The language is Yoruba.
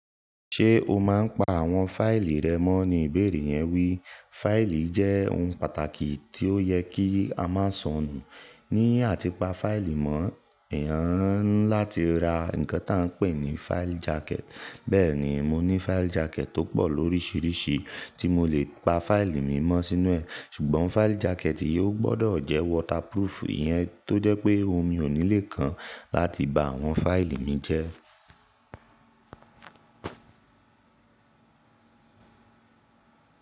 "Ṣé o máa ń pa àwọn fáìlì rẹ mọ́?" ni ìbéèrè yẹn wí. Fáìlì jẹ́ ohun pàtàkì tí ó yẹ kí a máa sọnù. Ní àti pa fáìlì mọ́, èèyàn ńi lá ti ra nǹkan tá ń pè ní file jacket. Bẹ́ẹ̀ ni, mo ní file jacket tó pọ̀ lóríṣiríṣi tí mo lè pa fáìlì mi mọ́ sínú ẹ̀. Ṣùgbọ́n file jacket yìí ó gbọdọ̀ jẹ́ waterproof, ìyẹn tó jẹ́ pé omi ò ní lè kan láti bá àwọn fáìlì mi jẹ́.